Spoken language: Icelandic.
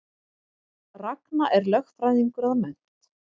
Ragna er lögfræðingur að mennt